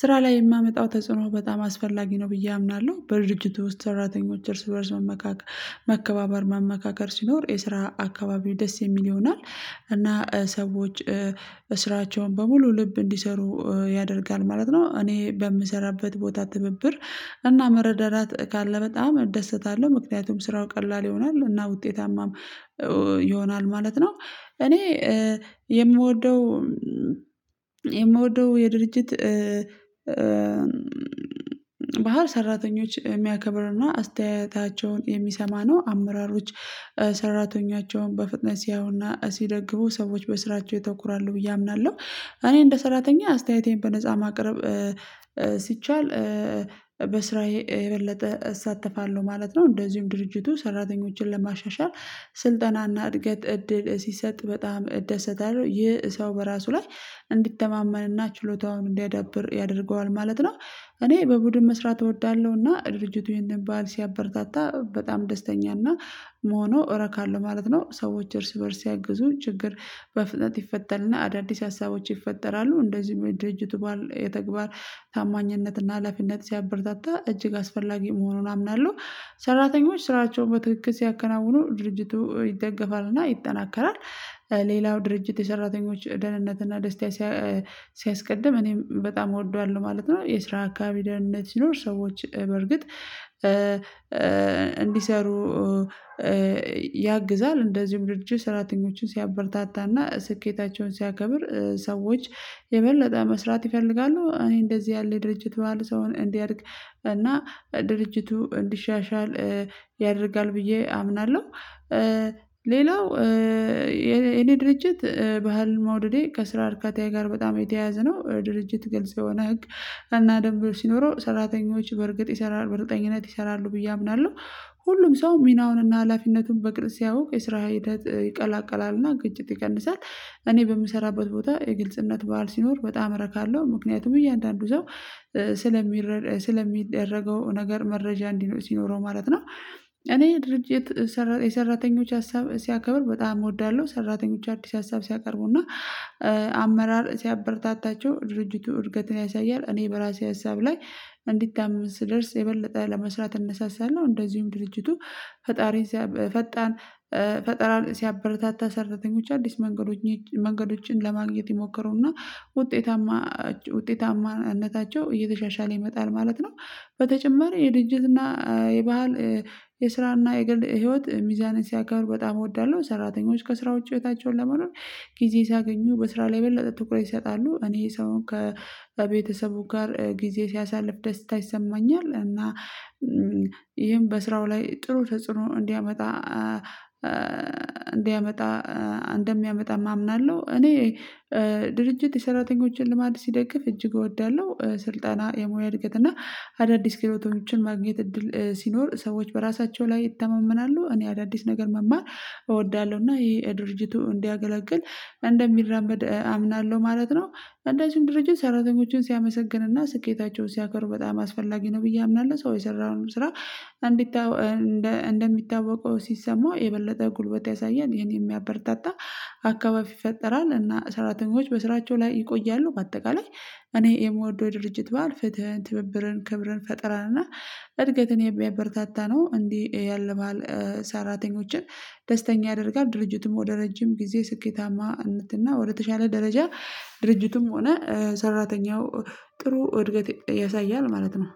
ስራ ላይ የማመጣው ተጽዕኖ በጣም አስፈላጊ ነው ብዬ አምናለሁ በድርጅቱ ውስጥ ሰራተኞች እርስ በእርስ መከባበር መመካከር ሲኖር የስራ አካባቢው ደስ የሚል ይሆናል እና ሰዎች ስራቸውን በሙሉ ልብ እንዲሰሩ ያደርጋል ማለት ነው። እኔ በምሰራበት ቦታ ትብብር እና መረዳዳት ካለ በጣም እደሰታለሁ ምክንያቱም ስራው ቀላል ይሆናል እና ውጤታማም ይሆናል ማለት ነው። እኔ የምወደው የምወደው የድርጅት ባህር ሰራተኞች እሚያከብርና አስተያየታቸውን የሚሰማ ነው አመራሮች ሰራተኞቻቸውን በፍጥነት ሲያዩና ሲደግፉ ሰዎች በስራቸው ያተኩራሉ ብዬ አምናለሁ። እኔ እንደ ሰራተኛ አስተያየቴን በነፃ ማቅረብ ሲቻል በስራዬ የበለጠ እሳተፋለሁ ማለት ነው። እንደዚሁም ድርጅቱ ሰራተኞችን ለማሻሻል ስልጠናና እድገት እድል ሲሰጥ በጣም እደሰታለሁ ይህ ሰው በራሱ ላይ እንዲተማመንና ችሎታውን እንዲያዳብር ያደርገዋል ማለት ነው። እኔ በቡድን መስራት እወዳለሁ እና ድርጅቱ ይሄንን ባህል ሲያበረታታ በጣም ደስተኛ እና መሆኑ እረካለሁ ማለት ነው። ሰዎች እርስ በእርስ ሲያግዙን ችግር በፍጥነት ይፈተልና አዳዲስ ሀሳቦች ይፈጠራሉ እንደዚሁም የድርጅቱ ባህል የተግባር ታማኝነትና ሀላፊነት ሲያበረታታ እጅግ አስፈላጊ መሆኑን አምናለሁ። ሰራተኞች ስራቸውን በትክክል ሲያከናውኑ ድርጅቱ ይደገፋልና ይጠናከራል። ሌላው ድርጅት የሰራተኞች ደህንነት እና ደስታ ሲያስቀድም እኔም በጣም እወደዋለሁ ማለት ነው። የስራ አካባቢ ደህንነት ሲኖር ሰዎች በዕርግጥ እንዲሰሩ ያግዛል እንደዚሁም ድርጅቱ ሰራተኞችን ሲያበርታታና ስኬታቸውን ሲያከብር ሰዎች የበለጠ መስራት ይፈልጋሉ እኔ እንደዚህ ያለ የድርጅት ባህል ሰውን እንዲያድግ እና ድርጅቱ እንዲሻሻል ያደርጋል ብዬ አምናለሁ። ሌላው የእኔ ድርጅት ባህል መውደዴ ከስራ እርካታየ ጋር በጣም የተያያዘ ነው ድርጅት ግልጽ የሆነ ህግ እና ደንብ ሲኖረው ሰራተኞች በእርግጥ ይሰራሉ በእርግጠኝነት ይሰራሉ ብዬ አምናለሁ። ሁሉም ሰው ሚናውንና ሀላፊነቱን በቅርብ ሲያውቅ የስራ ሂደት ይቀላቀላልና ግጭት ይቀንሳል እኔ በምሰራበት ቦታ የግልጽነት ባህል ሲኖር በጣም ረካለሁ ምክንያቱም እያንዳንዱ ሰው ስለሚረዳዳ ስለሚደረገው ነገር መረጃ ሲኖረው ማለት ነው። እኔ ድርጅት የሰራተኞች ሀሳብ ሲያከብር በጣም እወዳለሁ ሰራተኞች አዲስ ሀሳብ ሲያቀርቡና አመራር ሲያበረታታቸው ድርጅቱ እድገትን ያሳያል እኔ በራሴ ሀሳብ ላይ እንዲታመን ስደርስ የበለጠ ለመስራት እነሳሳለሁ። እንደዚሁም ድርጅቱ ፈጣሪን ፈጣን ፈጠራን ሲያበረታታ ሰርተተኞች አዲስ መንገዶችን መንገዶችን ለማግኘት ይሞክሩና ውጤታማነታቸው እየተሻሻለ ይመጣል ማለት ነው። በተጨማሪ የድርጅትና የባህል የስራና የገል ህይወት ሚዛንን ሲያከብሩ በጣም እወዳለሁ ሰራተኞች ከስራ ውጭ ህይወታቸውን ለመኖር ጊዜ ሲያገኙ በስራ ላይ የበለጠ ትኩረት ይሰጣሉ እኔ ሰውን ከቤተሰቡ ጋር ጊዜ ሲያሳልፍ ደስታ ይሰማኛል እና ይሄም በስራው ላይ ጥሩ ተጽዕኖ እንዲያመጣ እንዲያመጣ እንደሚያመጣም አምናለሁ። እኔ ድርጅት የሰራተኞችን ልማድ ሲደግፍ እጅግ እወዳለሁ ስልጠና የሙያ እድገት እና አዳዲስ ክህሎቶችን ማግኘት እድል ሲኖር ሰዎች በራሳቸው ላይ ይታመምናሉ እኔ አዳዲስ ነገር መማር እወዳለሁ እና ይሄ ለድርጅቱ እንዲያገለግል እንደሚራመድ አምናለሁ ማለት ነው። አንደዚሁም ድርጅት ሰራተኞችን ሲያመሰግንና ስኬታቸውን ሲያከብር በጣም አስፈላጊ ነው ብዬ አምናለሁ። ሰው የሰራውንም ስራ እንደሚታወቀው ሲሰማው የበለጠ ጉልበት ያሳያል ይሄን ያበረታታ አካባቢ ይፈጠራል እና ሰራተኞች በስራቸው ላይ ይቆያሉ። በአጠቃላይ እኔ የእምወደው የድርጅት በዓል ፍትህን ትብብርን ክብርን ፈጥራለሁ እና እድገትን የሚያበረታታ ነው እንዲህ ያለ በዓል ሰራተኞችን ደስተኛ ያደርጋል ድርጅቱም ወደ ረጅም ጊዜ ስኬታማነት እና ወደ ተሻለ ደረጃ ድርጅቱም ሆነ ሰራተኛው ጥሩ እድገት ያሳያል ማለት ነው